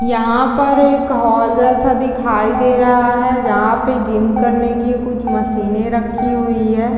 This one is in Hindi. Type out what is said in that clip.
यहाँ पर एक हॉल जैसा दिखाई दे रहा है जहाँ पे जिम करने की कुछ मशीने रखी हुई है।